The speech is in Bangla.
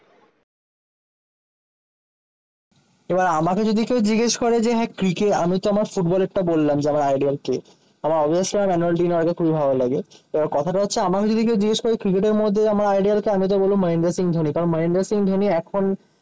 এবার আমাকে যদি কেউ জিজ্ঞেস করে যে, হ্যাঁ ক্রিকে আমি তোমার ফুটবলের টা বললাম যে, আমার আইডল কে? আমার অবভিয়াসলি রোনালদিনহো আমার আগে খুবই ভালো লাগে। এবার কথাটা হচ্ছে আমার যদি কেউ জিজ্ঞেস করে ক্রিকেটের মধ্যে আমার আইডল কে? আমি তো বলবো মহেন্দ্র সিং ধোনি। কারণ মাহেন্দ্রা সিং ধোনি এখন